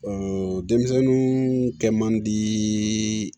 denmisɛnnin kɛ man di